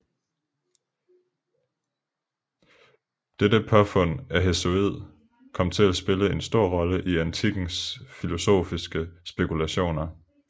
Dette påfund af Hesiod kom til at spille en stor rolle i antikkens filosofiske spekulationer